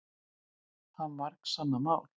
Það var margsannað mál.